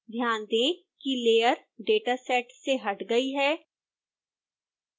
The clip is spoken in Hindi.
ध्यान दें कि layer dataset से हट गई है